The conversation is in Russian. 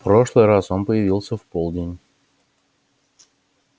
в прошлый раз он появился в полдень